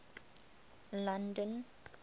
london